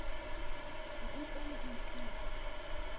ho ruta le ho ithuta